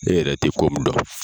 E yɛrɛ tɛ ko min dɔn.